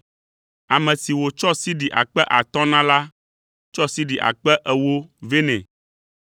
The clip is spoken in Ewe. Ame si wòtsɔ sidi akpe atɔ̃ na la tsɔ sidi akpe ewo vɛ nɛ.